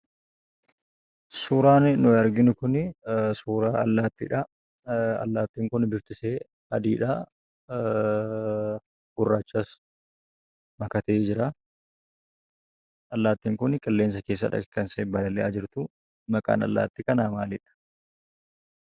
Suuraan nuyi arginu kunii suuraa allaattiidhaa. Allaattiin kun biftishee adiidhaa gurraachas makatee jiraa. Allaattiin kuni qilleensa keessadha kan isheen balali'aa jirtuu. Maqaan allaattii kanaa maalidha?